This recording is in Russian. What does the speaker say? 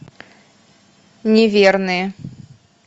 неверные